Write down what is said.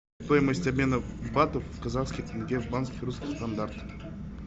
стоимость обмена батов в казахские тенге в банке русский стандарт